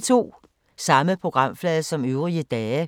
Samme programflade som øvrige dage